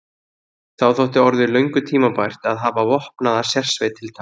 Þá þótti orðið löngu tímabært að hafa vopnaða sérsveit til taks.